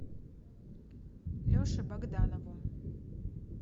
леше богданову